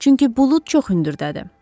Çünki bulud çox hündürdədir.